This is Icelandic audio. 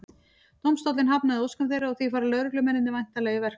Dómstóllinn hafnaði óskum þeirra og því fara lögreglumennirnir væntanlega í verkfall.